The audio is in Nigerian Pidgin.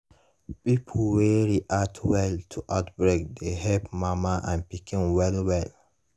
pipo wey react well to outbreak dey help mama and pikin well well